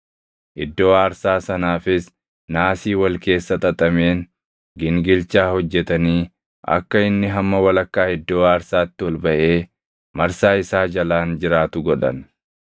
Iddoo aarsaa sanaafis naasii wal keessa xaxameen gingilchaa hojjetanii akka inni hamma walakkaa iddoo aarsaatti ol baʼee marsaa isaa jalaan jiraatu godhan.